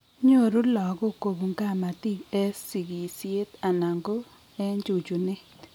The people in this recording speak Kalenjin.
Nyoru lagok kobun kamatik en sigisiet anan ko en chuchunet